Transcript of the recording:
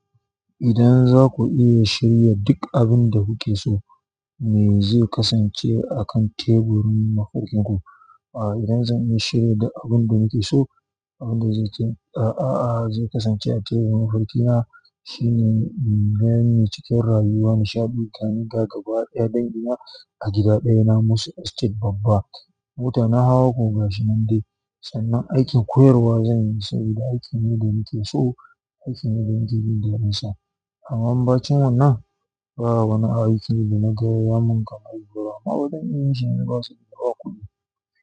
Idan za ku iya shirya duk abin da kuke so, me zai kasance a kan teburin mafar kinku? A'a idan zan iya shirya duk abin da nake so, abin da zai kasance a teburin farkina shine, inganni cikin rayuwa, nishaɗi, tare da gaba ɗaya dangina a gida ɗaya na Musu Estate babba. Mota na hawa koga shinan dai, sannan aikin koyarwa zan yi saboda aikin ne da nake so, aikin ne da nake jin daɗinsa. Amma bacin wannan, ba wani aiki da na gayamun mun kamar amma zan iya yin shine koba kuɗi.